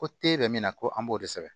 Ko te bɛ min na ko an b'o de sɛbɛn